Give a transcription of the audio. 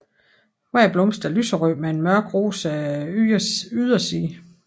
Hver blomst er lyserød med en mørk rosa yderside